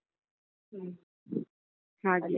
ಹ್ಮ್ .